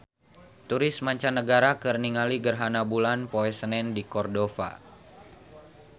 Turis mancanagara keur ningali gerhana bulan poe Senen di Cordova